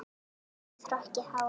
Með hrokkið hár.